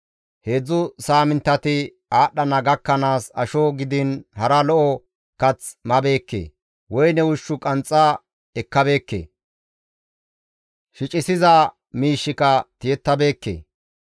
Heedzdzu saaminttati aadhdhana gakkanaas asho gidiin hara lo7o kath mabeekke, woyne ushshu ganxa ekkabeekke; shicissiza miishshika tiyettabeekke.